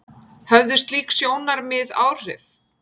Höfðu slík sjónarmið áhrif?